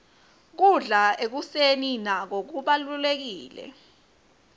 kudla ekuseni nako kubalulekile